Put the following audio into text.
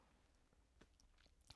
TV 2